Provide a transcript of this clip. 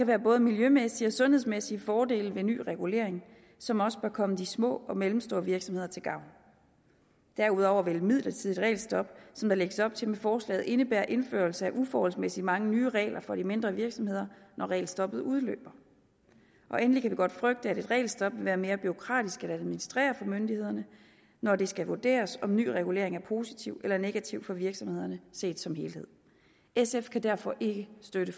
være både miljømæssige og sundhedsmæssige fordele ved ny regulering som også bør komme de små og mellemstore virksomheder til gavn derudover vil et midlertidigt regelstop som der lægges op til med forslaget indebære indførelse af uforholdsmæssigt mange nye regler for de mindre virksomheder når regelstoppet udløber endelig kan vi godt frygte at et regelstop vil være mere bureaukratisk at administrere for myndighederne når det skal vurderes om en ny regulering er positiv eller negativ for virksomhederne set som helhed sf kan derfor ikke støtte